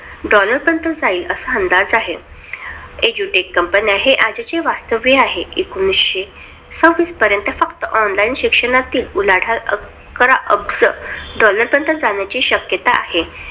Dollar पर्यंत जाईल असा अंदाज आहे. Edutech companies हे आजचे वास्तव आहे. एकोनीशे सव्वीस पर्यंत फक्त online शिक्षणातील उलाढाल अकरा अब्ज डॉलरपर्यंत जाण्याची शक्यता आहे.